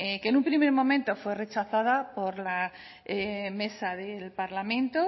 que en un primer momento fue rechazada por la mesa del parlamento